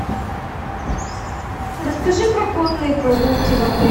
расскажи про конные прогулки в отеле